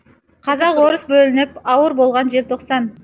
қазақ орыс бөлініп ауыр болған желтоқсан